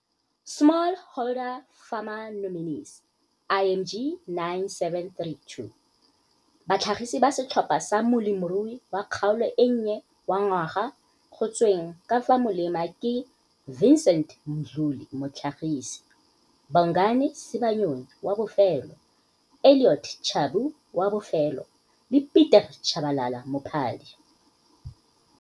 small holder farmer nominees IMG 9732 - Batlhagisi ba setlhopha sa Molemirui wa Kgaolo e Nnye wa Ngwaga go tsweng ka fa molema ke - Vincent Mdluli, motlhagisi, Bongani Sibanyoni, wa bofelo, Elliot Tshabu, wa bofelo, le Pieter Chabalala, mophadi.